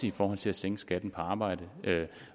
i forhold til at sænke skatten på arbejde